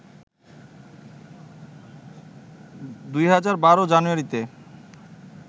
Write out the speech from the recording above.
২০১২ জানুয়ারিতে